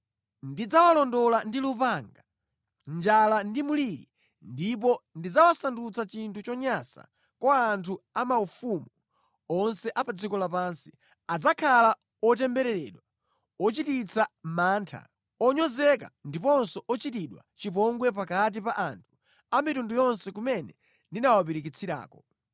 Ndidzawalondola ndi lupanga, njala ndi mliri ndipo ndidzawasandutsa chinthu chonyansa kwa anthu amayiko onse a pa dziko lapansi. Adzakhala otembereredwa, ochititsa mantha, onyozeka ndiponso ochitidwa chipongwe pakati pa anthu a mitundu yonse kumene ndawapirikitsirako.